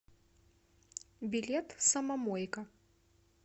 билет самомойка